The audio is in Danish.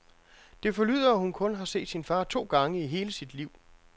Det forlyder, at hun kun har set sin far to gange i hele sit liv.